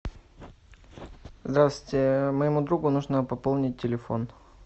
здравствуйте моему другу нужно пополнить телефон